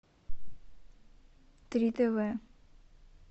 три тв